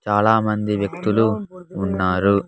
చాలామంది వ్యక్తులు ఉన్నారు.